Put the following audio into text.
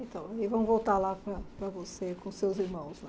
Então, e vamos voltar lá para para você, com seus irmãos lá.